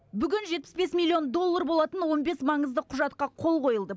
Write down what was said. бүгін жетпіс бес миллион доллар болатын он бес маңызды құжатқа қол қойылды